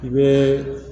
I bɛ